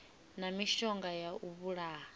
na mishonga ya u vhulaha